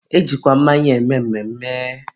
e jikwa mmanya eme mmemme.